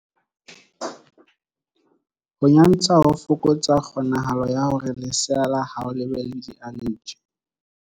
Ho nyantsha ho fokotsa kgonahalo ya hore lesea la hao le be le dialeji.